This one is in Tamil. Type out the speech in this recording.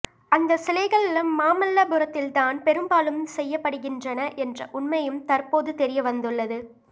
அந்த சிலைகள் மாமல்லபுரத்தில் தான் பெரும்பாலும் செய்யப்படுகின்றன என்ற உண்மையும் தற்போது தெரியவந்துள்ளது